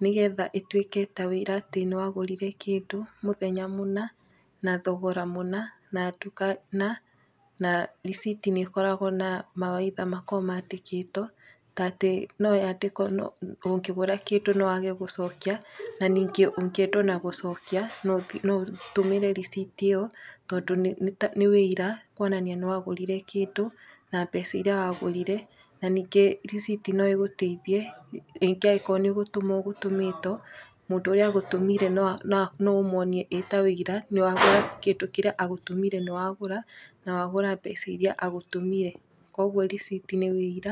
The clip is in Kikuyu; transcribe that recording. nĩ getha ĩtuĩke ta wĩira atĩ nĩ wagũrire kĩndũ mũthenya mũna, na thogora mũna, na nduka na, na riciti nĩ ĩkoragwo na mawaitha makoo mandĩkĩtwo, ta atĩ noyandĩkwo ũngĩgũra kĩndũ no wage gũcokia na ningĩ ũngĩenda ona gũcokia no ũtũmĩre riciti ĩyo, tondũ nĩ wĩira kwonania nĩ wa gũrire kĩndũ na mbeca iria wagũrire na ningĩ riciti no ĩgũteithie ningĩ agĩkorwo nĩ gũtũmwo ũgũtũmĩtwo, mũndũ ũrĩa agũtũmire no ũmuonie ĩ ta wũira nĩ wagũra kĩndũ kĩríĩ agũtũmire nĩ wagũra na wagũra mbeca iria agũrũmire, koguo riciti nĩ wĩira.